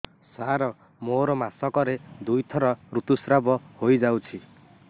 ସାର ମୋର ମାସକରେ ଦୁଇଥର ଋତୁସ୍ରାବ ହୋଇଯାଉଛି